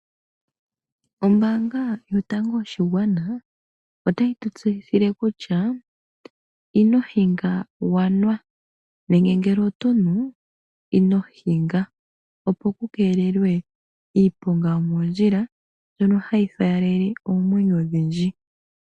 Ombaanga yotango yopashigwana otayi tutseyithile kutya ino hinga wanwa nenge ngele oto nu inohinga, opo kukeelelwe iiponga yo moondjila mbyono hayi faalele oomwenyo odhindji.